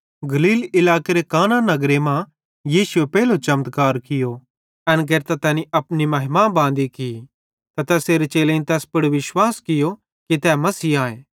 गलील इलाकेरे काना नगरे मां यीशुए पेइलो चमत्कार कियो एन केरतां तैनी अपनी महिमा बांदी की त तैसेरे चेलेईं तैस पुड़ होरो भी जादे विश्वास कियो कि तै मसीह आए